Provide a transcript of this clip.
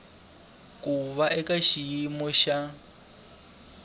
ku va eka xiyimo xa